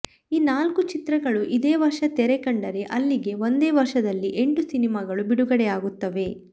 ಈ ನಾಲ್ಕು ಚಿತ್ರಗಳು ಇದೇ ವರ್ಷ ತೆರೆ ಕಂಡರೆ ಅಲ್ಲಿಗೆ ಒಂದೇ ವರ್ಷದಲ್ಲಿ ಎಂಟು ಸಿನಿಮಾಗಳು ಬಿಡುಗಡೆಯಾಗುತ್ತವೆ